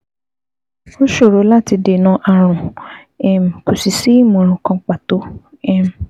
Ó ṣòro láti dènà ààrùn, um kò sì sí ìmọ̀ràn kan pàtó um